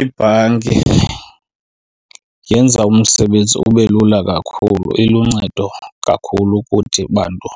Ibhanki yenza umsebenzi ube lula kakhulu. Iluncedo kakhulu kuthi bantu